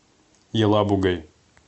елабугой